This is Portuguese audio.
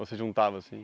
Ou se juntava, assim?